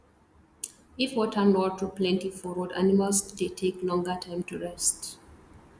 if water nor too plenty for road animals dey take longer time to rest